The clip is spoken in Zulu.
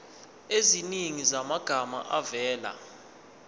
eziningi zamagama avela